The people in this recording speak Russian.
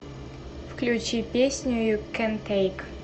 включи песню ю кэн тэйк